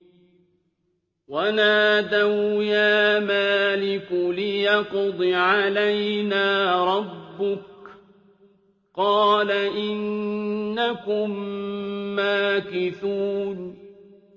وَنَادَوْا يَا مَالِكُ لِيَقْضِ عَلَيْنَا رَبُّكَ ۖ قَالَ إِنَّكُم مَّاكِثُونَ